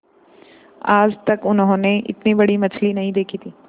आज तक उन्होंने इतनी बड़ी मछली नहीं देखी थी